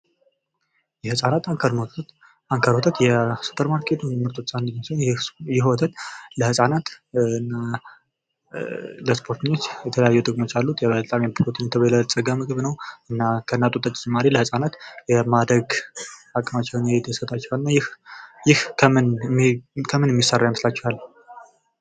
የህፃናት አንከር ወተት ሱፐር ማርኬት ምርቶች ውስጥ አንዱ ሲሆን ይህ ወተት ለህፃናት እና ለስፖርተኞች የተለያየ ጥቅሞች አሉት በፕሮቲን የበለፀገ ምግብ ነው ከእናት ወተት በተጨማሪ ለህፃናት የማደግ አቅም እንዲሰጣቸው ያደርጋል ይህ ከምን የሚሰራ ይመስላቸዋል